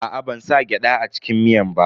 Aa, ban sa gyada a cikin miyan ba.